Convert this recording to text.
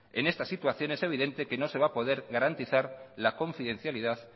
en esta situación es evidente que no se va a poder garantizar la confidencialidad